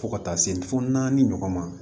Fo ka taa se fo naani ɲɔgɔn ma